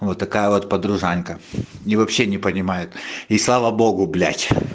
вот такая вот подружанька и вообще не понимает и слава богу блять